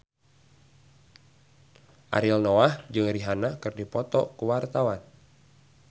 Ariel Noah jeung Rihanna keur dipoto ku wartawan